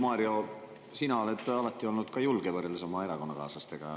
Mario, sina oled alati olnud julge võrreldes oma erakonnakaaslastega.